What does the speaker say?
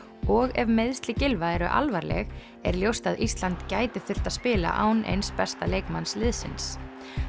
og ef meiðsli Gylfa eru alvarleg er ljóst að Ísland gæti þurft að spila án eins besta leikmanns liðsins